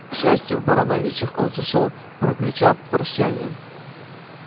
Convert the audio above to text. к счастью в барановичах он сошёл прокричав на прощание